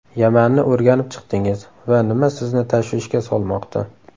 Yamanni o‘rganib chiqdingiz va nima sizni tashvishga solmoqda?